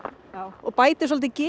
og bætir svolítið geðið